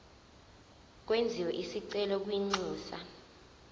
kwenziwe isicelo kwinxusa